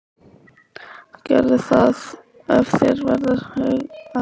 Gerðu það ef þér verður hughægra.